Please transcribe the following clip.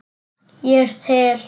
Ég er til.